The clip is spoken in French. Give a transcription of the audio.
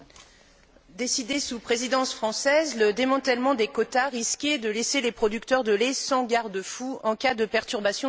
Décidé sous présidence française, le démantèlement des quotas risquait de laisser les producteurs de lait sans garde fou en cas de perturbation du marché.